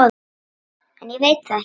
En ég veit það ekki.